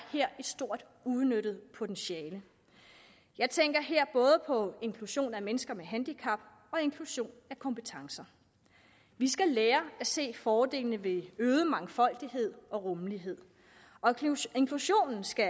et stort uudnyttet potentiale jeg tænker her både på inklusion af mennesker med handicap og inklusion af kompetencer vi skal lære at se fordelene ved øget mangfoldighed og rummelighed inklusionen skal